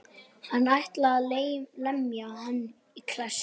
Hann ætlaði að lemja hann í klessu.